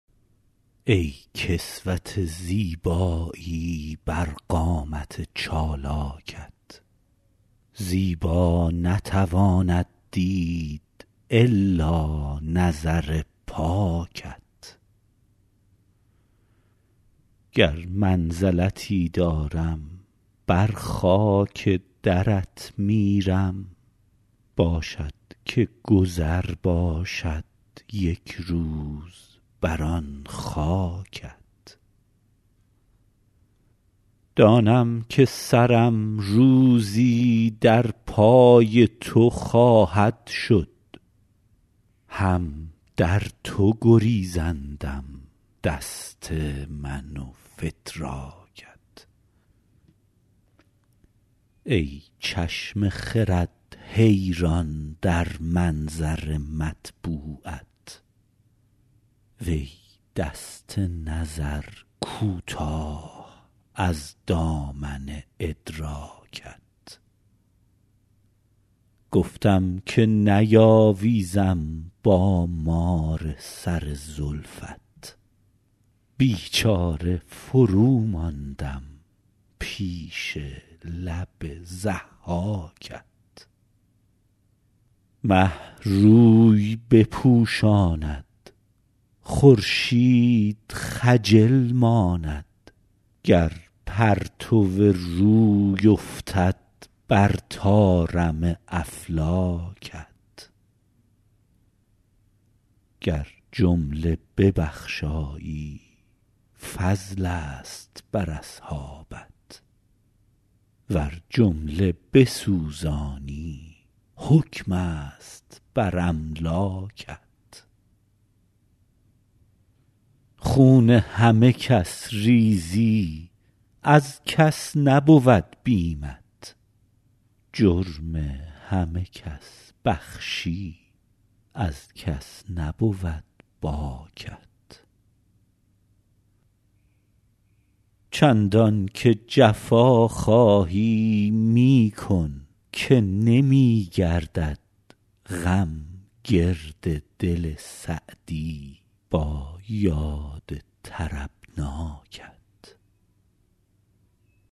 ای کسوت زیبایی بر قامت چالاکت زیبا نتواند دید الا نظر پاکت گر منزلتی دارم بر خاک درت میرم باشد که گذر باشد یک روز بر آن خاکت دانم که سرم روزی در پای تو خواهد شد هم در تو گریزندم دست من و فتراکت ای چشم خرد حیران در منظر مطبوعت وی دست نظر کوتاه از دامن ادراکت گفتم که نیاویزم با مار سر زلفت بیچاره فروماندم پیش لب ضحاکت مه روی بپوشاند خورشید خجل ماند گر پرتو روی افتد بر طارم افلاکت گر جمله ببخشایی فضلست بر اصحابت ور جمله بسوزانی حکمست بر املاکت خون همه کس ریزی از کس نبود بیمت جرم همه کس بخشی از کس نبود باکت چندان که جفا خواهی می کن که نمی گردد غم گرد دل سعدی با یاد طربناکت